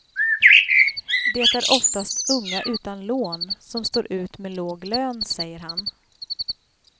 Det är oftast unga utan lån som står ut med låg lön, säger han.